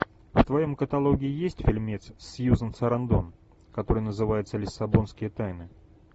в твоем каталоге есть фильмец с сьюзан сарандон который называется лиссабонские тайны